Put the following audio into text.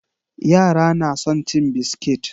Yara na son cin biskit.